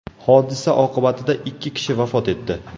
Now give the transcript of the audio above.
Hodisa oqibatida ikki kishi vafot etdi.